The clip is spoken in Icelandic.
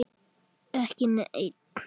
Ekki neinn.